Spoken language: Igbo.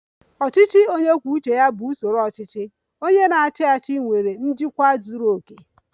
"Ọchịchị onye kwuo uche ya bụ usoro ọchịchị. Onye na-achị achị nwere njikwa zuru oke"